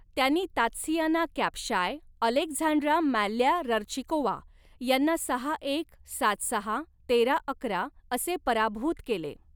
त्यांनी Tatsiana Kapshai Alexandra Malyarchikova यांना सहा एक, सात सहा, तेरा अकरा असे पराभूत केले.